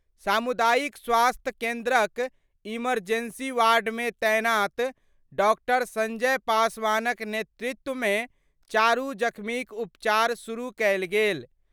सामुदायिक स्वास्थ्य केन्द्रक इमरजेंसी वार्डमे तैनात डॉ. संजय पासवानक नेतृत्वमे चारु जख्मीक उपचार शुरू कयल गेल।